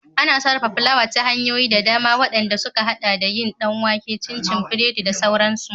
Ana sarrafa fulawa ta hanyoyi da dama, waɗand suka haɗa da yin ɗan wake, cinci, biredi da sauransu.